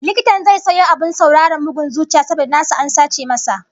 Likitan zai sayo abin sauraron bugun zuciya saboda nasa an sace masa